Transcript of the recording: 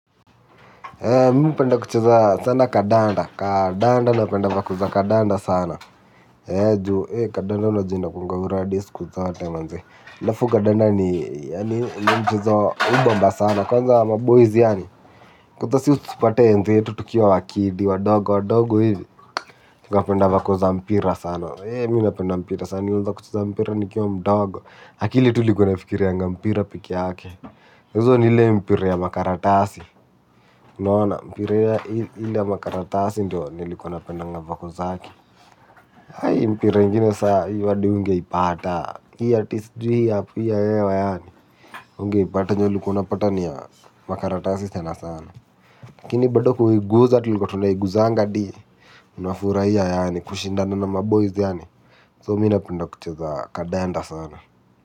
Kandanda napenda vakuza kadanda sana. He juu, hee kadanda na jinda kunga uradesi kuzote manzi. Lafu kadanda ni, yaani, ni mchezo ubamba sana. Kwanza wa mboizi yaani. Kutasi usupate ente yetu tukiwa wakidi, wadogo, wadogo hivi. Kwa penda vakuza mpira sana. Hee, mimi napenda mpira sana. Nilianza kucheza mpira ni kio mdogo. Hakili tulikunafikiri ya mpira piki hake. Uzo nile mpira ya makaratasi. Nona, mpira ili ya makaratasi. Ndiyo nilikuuna penda nga wako zaki. Hai mpire ingine sa wadi unge ipata. Hii ya tisdihi ya hapo, hii ya ewa yaani. Unge ipata nyo likuuna pata ni ya makaratasi sana sana. Kini badoku iguza ti likuuna iguzanga di. Unafuraia yaani kushindana na maboiz yaani. So mina penda kucheza kadanda sana.